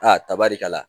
Aa tabali ka na